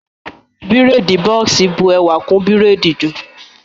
Bírèèdì bọ́ọ̀sì bu ẹwà kún bírèèdì jù